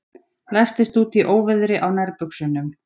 Læstist úti í óveðri á nærbuxunum